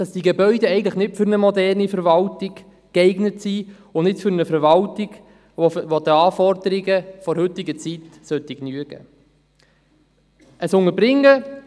Diese Gebäude eignen sich nicht für eine moderne Verwaltung und nicht für eine Verwaltung, die den Anforderungen der heutigen Zeit genügen sollte.